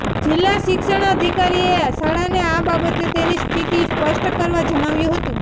જિલ્લા શિક્ષણાધિકારીએ શાળાને આ બાબતે તેની સ્થિતિ સ્પષ્ટ કરવા જણાવ્યું હતું